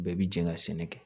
Bɛɛ bi jɛ ka sɛnɛ kɛ